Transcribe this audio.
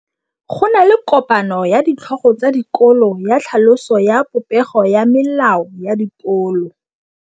Go na le kopanô ya ditlhogo tsa dikolo ya tlhaloso ya popêgô ya melao ya dikolo.